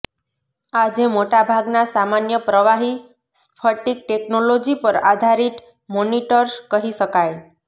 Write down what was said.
આજે મોટા ભાગના સામાન્ય પ્રવાહી સ્ફટિક ટેકનોલોજી પર આધારિત મોનિટર્સ કહી શકાય